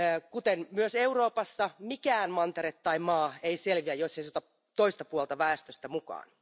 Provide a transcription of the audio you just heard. Kuten myös Euroopassa, mikään mantere tai maa ei selviä, jos se ei ota toista puolta väestöstä mukaan.